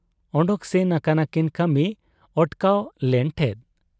ᱚᱰᱚᱠ ᱥᱮᱱ ᱟᱠᱟᱱᱟᱠᱤᱱ ᱠᱟᱹᱢᱤ ᱚᱴᱠᱟᱣ ᱞᱮᱱ ᱴᱷᱮᱫ ᱾